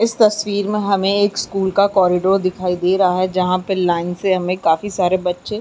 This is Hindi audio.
इस तस्मीर में हमें एक स्कूल का कॉरिडोर दिखाई दे रहा है जहाँ पे लाइन से हमें काफी सारे बच्चे --